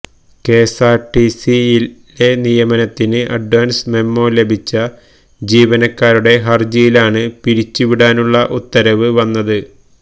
K S R T സിയിലെ നിയമനത്തിന് advance memo ലഭിച്ച ജീവനക്കാരുടെ ഹരജിയിലാണ് പിരിച്ചുവിടാനുള്ള ഉത്തരവ് വന്നത്